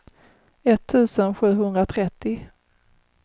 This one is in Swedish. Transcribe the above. etttusen sjuhundratrettio